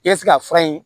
I ye se ka fura in